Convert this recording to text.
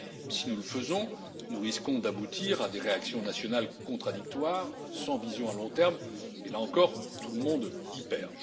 Si nous le faisons, nous risquons d'aboutir à des réactions nationales contradictoires sans vision à long terme et là encore, tout le monde y perd.